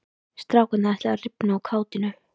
Strákarnir ætluðu að rifna úr kátínu.